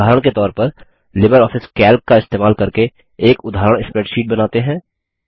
उदाहरण के तौर पर लिबरऑफिस कैल्क का इस्तेमाल करके एक उदाहरण स्प्रैडशीट बनाते हैं